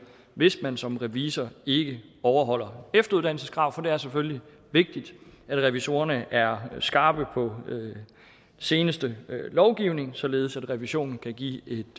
hvis man som revisor ikke overholder efteruddannelseskrav for det er selvfølgelig vigtigt at revisorerne er skarpe på seneste lovgivning således at revisionen kan give et